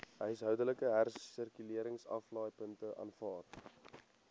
huishoudelike hersirkuleringsaflaaipunte aanvaar